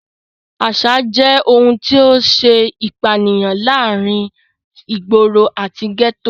Àsà jẹ́ ohun tó ṣe ìpínyà láàrin ìgboro àti gẹ́tò.